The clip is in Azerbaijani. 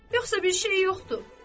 Yoxsa bir şey yoxdur.